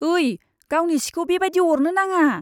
ओइ, गावनि सिखौ बेबादि अरनो नाङा।